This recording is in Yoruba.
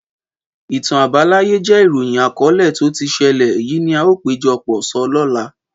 Ìtàn àbáláyé jẹ ìróyín àkọlẹ tó tí sẹlẹ, èyí ni a o pejọ pọ̀ sọ lóla